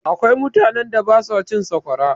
Akwai mutanen da ba su cin sakwara.